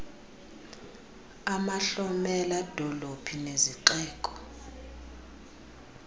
amahlomela dolophu nezixeko